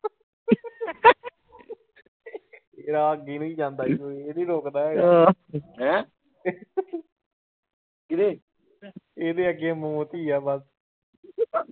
ਰਾਹ ਅੱਗੇ ਨੂੰ ਜਾਂਦਾਂ ਇਹ ਨੀ ਰੁੱਕਦਾ ਹੈਗਾ ਇਹਦੇ ਅੱਗੇ ਮੌਤ ਈ ਆ ਬਸ।